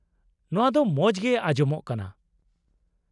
-ᱱᱚᱣᱟ ᱫᱚ ᱢᱚᱡᱽᱜᱮ ᱟᱡᱚᱢᱚᱜ ᱠᱟᱱᱟ ᱾